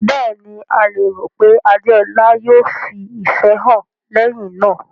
Bẹ́ẹ̀ ni, a lérò pé Adeola yóò fi ìfẹ́ hàn lẹ́yìn náà.